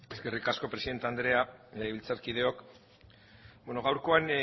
eskerrik asko presidente andrea legebiltzarkideok bueno gaurkoan